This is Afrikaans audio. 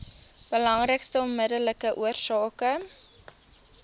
belangrikste onmiddellike oorsake